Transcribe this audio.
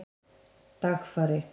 Dagfari